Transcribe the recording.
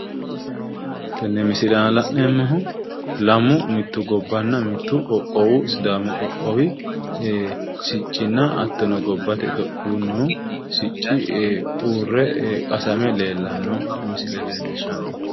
Tenne misile aana la'neemmoho lamu mittu gobbanna mittu qoqqowi sidaamu qoqqowi siccinna hattono gobbate itophiyuunnihu sicci uurre qasame leellanno misile leellishshanno.